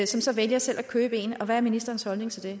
som så vælger selv at købe en hvad er ministerens holdning til det